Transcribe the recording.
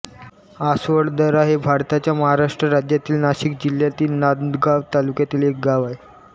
आसवळदरा हे भारताच्या महाराष्ट्र राज्यातील नाशिक जिल्ह्यातील नांदगाव तालुक्यातील एक गाव आहे